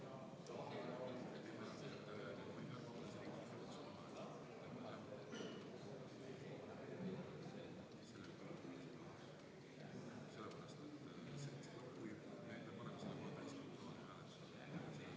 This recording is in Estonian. Toomas Uibo, palun!